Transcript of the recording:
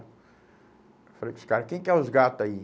Falei com os cara, quem que é os gato aí?